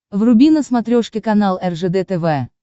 вруби на смотрешке канал ржд тв